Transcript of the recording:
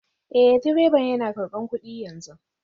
Eh direban yana karbar kudi yanzu